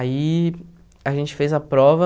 Aí a gente fez a prova,